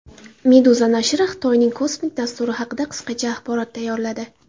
Meduza nashri Xitoyning kosmik dasturi haqida qisqacha axborot tayyorladi .